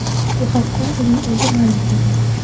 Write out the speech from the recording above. Bu haqda uning o‘zi ma’lum qildi .